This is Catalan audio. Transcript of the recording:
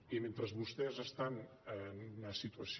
i mentre vostès estan en una situació